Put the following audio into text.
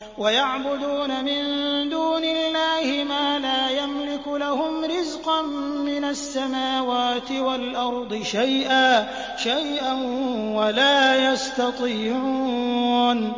وَيَعْبُدُونَ مِن دُونِ اللَّهِ مَا لَا يَمْلِكُ لَهُمْ رِزْقًا مِّنَ السَّمَاوَاتِ وَالْأَرْضِ شَيْئًا وَلَا يَسْتَطِيعُونَ